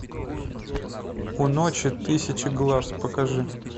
у ночи тысячи глаз покажи